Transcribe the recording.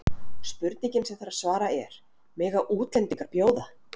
Spurningin sem þarf að svara er: Mega útlendingar bjóða?